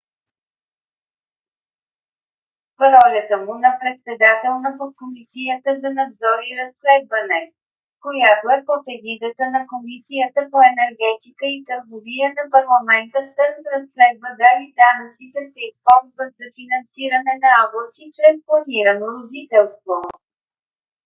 в ролята му на председател на подкомисията за надзор и разследване която е под егидата на комисията по енергетика и търговия на парламента стърнс разследва дали данъците се използват за финансиране на аборти чрез планирано родителство